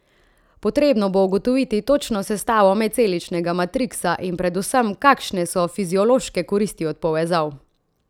Potrebno bo ugotoviti točno sestavo medceličnega matriksa, in predvsem, kakšne so fiziološke koristi od povezav.